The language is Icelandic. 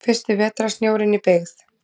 Fyrsti vetrarsnjórinn í byggð.